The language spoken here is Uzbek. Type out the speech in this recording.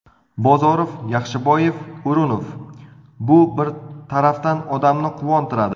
Bozorov, Yaxshiboyev, O‘runov... Bu bir tarafdan odamni quvontiradi.